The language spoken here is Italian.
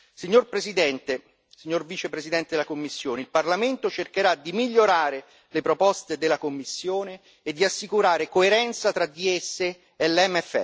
Signor Presidente, signor Vicepresidente della Commissione, il Parlamento cercherà di migliorare le proposte della Commissione e di assicurare coerenza tra di esse e l'MFF.